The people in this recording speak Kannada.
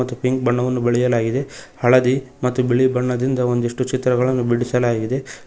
ಪಿಂಕ್ ಬಣ್ಣವನ್ನು ಬಳಿಯಲಾಗಿದೆ ಹಳದಿ ಮತ್ತು ಬಿಳಿ ಬಣ್ಣದಿಂದ ಒಂದಿಷ್ಟು ಚಿತ್ರಗಳನ್ನು ಬಿಡಿಸಲಾಗಿದೆ.